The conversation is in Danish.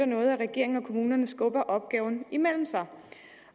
noget at regeringen og kommunerne skubber opgaven imellem sig